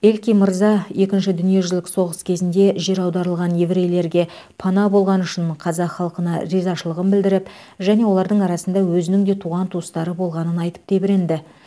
элькин мырза екінші дүниежүзілік соғыс кезінде жер аударылған еврейлерге пана болғаны үшін қазақ халқына ризашылығын білдіріп және олардың арасында өзінің де туған туыстары болғаның айтып тебіренді